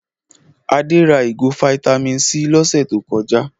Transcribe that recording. Adé ra ìgò fataímìn C lọ́sẹ̀ tó kọjá.